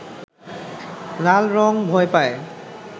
লাল রং ভয় পায়